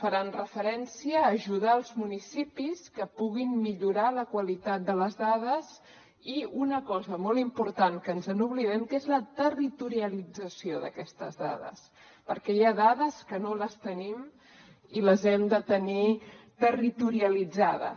faran referència a ajudar els municipis que puguin millorar la qualitat de les dades i una cosa molt important que ens n’oblidem que és la territorialització d’aquestes dades perquè hi ha dades que no les tenim i les hem de tenir territorialitzades